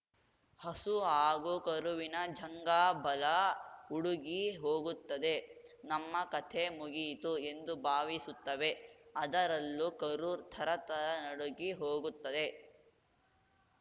ಹಸು ಹಾಗೂ ಕರುವಿನ ಜಂಘಾಬಲ ಉಡುಗಿ ಹೋಗುತ್ತದೆ ನಮ್ಮ ಕಥೆ ಮುಗಿಯಿತು ಎಂದು ಭಾವಿಸುತ್ತವೆ ಅದರಲ್ಲೂ ಕರು ಥರಥರ ನಡುಗಿ ಹೋಗುತ್ತದೆ